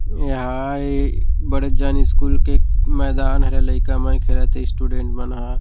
एहा ये बड़ेजान स्कूल के मैदान हरे लइका मन खेला थे स्टूडेंट मन ह--